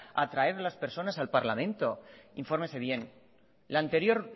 a traer las personas al parlamento infórmese bien la anterior